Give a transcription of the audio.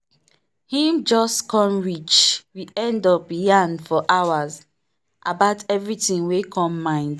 him just come reach we end up yarn for hours about everything wer come mind.